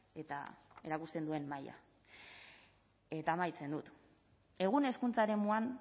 eta erakusten duen maila eta amaitzen dut egun hezkuntza eremuan